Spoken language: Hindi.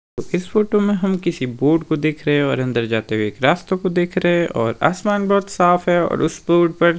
इस फोटो में हम किसी बोर्ड को देख रहें हैं और अंदर जाते हुए एक रास्तों को देख रहें हैं और आसमान बहोत साफ हैं और उस रोड पर--